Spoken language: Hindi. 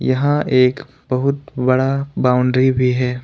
यहां एक बहुत बड़ा बाउंड्री भी है।